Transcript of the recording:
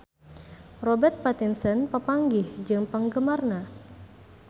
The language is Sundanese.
Robert Pattinson papanggih jeung penggemarna